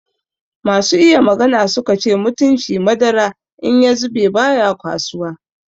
Masu iya magana su ka ce mutunci madara in ya zube baya kwasuwa.